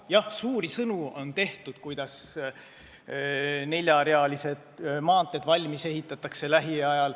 Jah, on tehtud suuri sõnu, kuidas neljarealised maanteed lähiajal valmis ehitatakse.